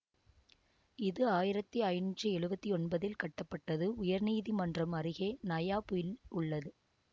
இது ஆயிரத்தி ஐநூற்றி எழுவத்தி ஒன்பதில் கட்டப்பட்டது உயர் நீதிமன்றம் அருகே நயா புல் உள்ளது